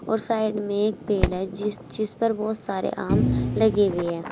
और साइड में एक पेड़ है जिसमें बहुत सारे आम लगे हुए हैं।